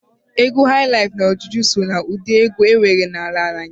Egwu hailaif na juju so na udi egwu enwere n'ala Naijịrịa.